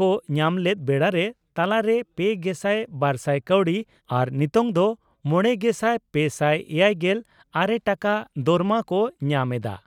ᱠᱚ ᱧᱟᱢ ᱞᱮᱫ ᱵᱮᱲᱟᱨᱮ ᱛᱟᱞᱟᱨᱮ ᱯᱮᱜᱮᱥᱟᱭ ᱵᱟᱨᱥᱟᱭ ᱠᱟᱣᱰᱤ ᱟᱨ ᱱᱤᱛᱚᱝ ᱫᱚ ᱢᱚᱲᱮᱜᱮᱥᱟᱭ ᱯᱮᱥᱟᱭ ᱮᱭᱟᱭᱜᱮᱞ ᱟᱨᱮ ᱴᱟᱠᱟ ᱫᱚᱨᱢᱟ ᱠᱚ ᱧᱟᱢ ᱮᱫᱼᱟ ᱾